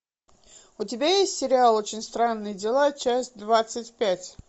у тебя есть сериал очень странные дела часть двадцать пять